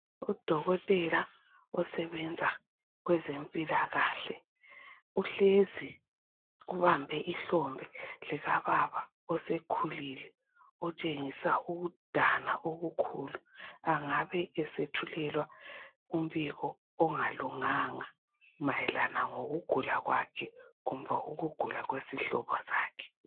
Udokotela osebenza kwenzempilakahle uhlezi ubambe ihlombe likababa osekhulile otshengisa ukudana okukhulu angabe esethulelwa umbiko ongalunganga mayelana ngokugula kwakhe kumbe ukugula kwesihlobo sakhe.